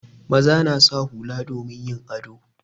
Maza na sa hula domin yin ado.